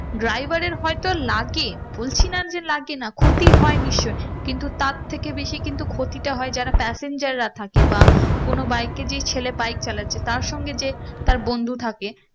driver এর হয়তো লাগে বলছি না যে লাগে না ক্ষতি হয়ে নিশ্চই কিন্তু তার থেকে বেশি কিন্তু ক্ষতিটা হয় যারা passenger রা থাকে বা কোনো bike কে যে ছেলে bike চালাচ্ছে তার সঙ্গে যে তার বন্ধু থাকে